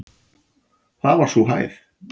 Það var sú hæð.